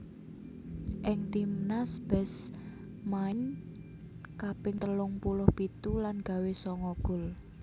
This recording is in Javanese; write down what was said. Ing timnas Best main kaping telung puluh pitu lan gawé sanga gol